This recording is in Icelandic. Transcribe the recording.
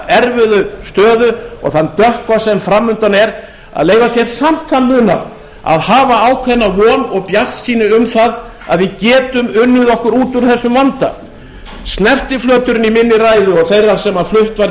erfiðu stöðu og þann dökkva sem framundan er að leyfa sér samt hann munað að hafa ákveðna von og bjartsýni um það að við getum unnið okkur út úr þessum vanda snertiflöturinn í minni ræðu og þeirra sem flutt var